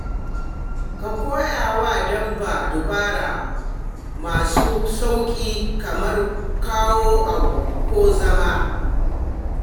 Ka koya wa dabba dabaru masu sauƙi kamar kawo abu ko zama.